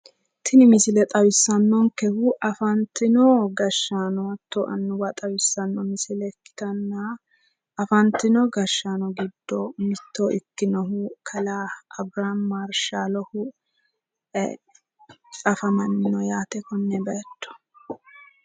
Tini misile xawissannokehu afantino gashshaano hattono annuwa xawissanno misile ikkitanna, afantino gashshaano giddo mitto ikkinohu kalaa abirihaami marshaalohu afammanno yaate konne bayiicho.